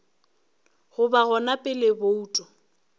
go ba gona pele bouto